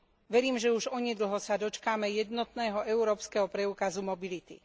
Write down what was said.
Verím, že už onedlho sa dočkáme jednotného európskeho preukazu mobility.